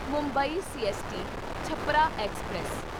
Mumbai CST Chhapra express